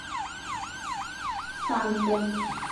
санте